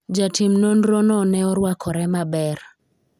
jatim nonro no ne orwakore maber